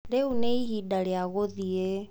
Rĩu nĩ ihinda rĩa gũthiĩ.